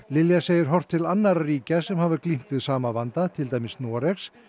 Lilja segir horft til annarra ríkja sem staðið hafa glímt við sama vanda til dæmis Noregs